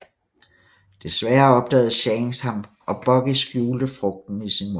Desværre opdagede Shanks ham og Buggy skjulte frugten i sin mund